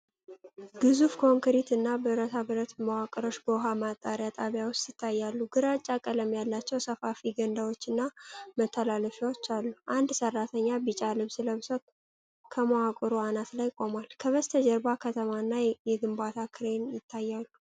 ግዙፍ ኮንክሪት እና ብረታብረት መዋቅሮች በውሃ ማጣሪያ ጣቢያ ውስጥ ይታያሉ። ግራጫ ቀለም ያላቸው ሰፋፊ ገንዳዎችና መተላለፊያዎች አሉ። አንድ ሰራተኛ ቢጫ ልብስ ለብሶ ከመዋቅሩ አናት ላይ ቆሟል። ከበስተጀርባ ከተማ እና የግንባታ ክሬን ይታያሉ።